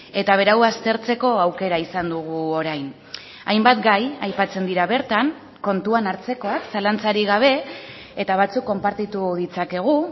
eta berau aztertzeko aukera izan dugu orain hainbat gai aipatzen dira bertan kontuan hartzekoak zalantzarik gabe eta batzuk konpartitu ditzakegu